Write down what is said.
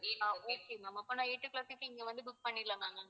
அஹ் அப்போன்னா eight o'clock க்கு இங்க வந்து book பண்ணிடலாமா ma'am